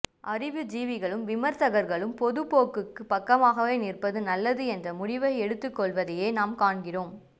அறிவுஜீவிகளும் விமர்சகர்களும் பொதுபோக்குக்குப் பக்கமாக நிற்பதே நல்லது என்ற முடிவை எடுத்துக்கொள்வதையே நாம் காண்கிறோம்